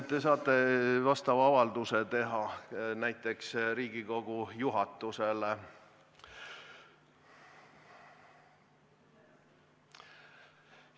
Te saate teha avalduse näiteks Riigikogu juhatusele.